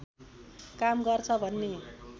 काम गर्छ भन्ने